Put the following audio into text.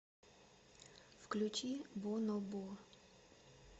включи бонобо